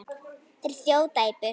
Þeir þjóta í burtu.